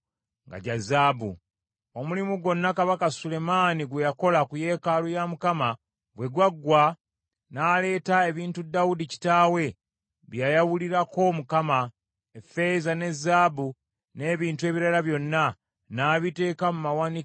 Omulimu gwonna Kabaka Sulemaani gwe yakola ku yeekaalu ya Mukama bwe gwaggwa, n’aleeta ebintu Dawudi kitaawe bye yayawulirako Mukama , effeeza ne zaabu n’ebintu ebirala byonna, n’abiteeka mu mawanika ga yeekaalu ya Mukama .